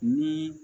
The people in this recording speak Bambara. Ni